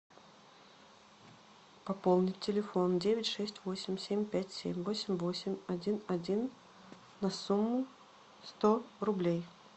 пополнить телефон девять шесть восемь семь пять семь восемь восемь один один на сумму сто рублей